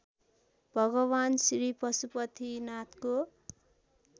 भगवान् श्री पशुपतिनाथको